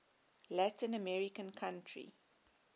latin american country